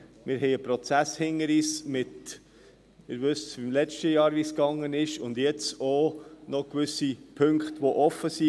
Wir haben einen Prozess hinter uns mit – Sie wissen, wie es im letzten Jahr gelaufen ist – und jetzt auch noch gewisse Punkte, die offen sind.